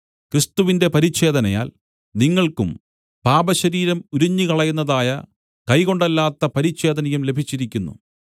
ക്രിസ്തുവിന്റെ പരിച്ഛേദനയാൽ നിങ്ങൾക്കും പാപശരീരം ഉരിഞ്ഞുകളയുന്നതായ കൈകൊണ്ടല്ലാത്ത പരിച്ഛേദനയും ലഭിച്ചിരിക്കുന്നു